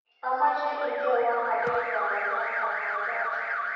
Amoche indenewo aker karon Martha Mwaipaja